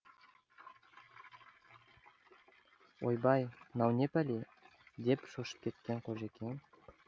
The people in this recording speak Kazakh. ойбай мынау не пәле деді шошып кеткен қожекең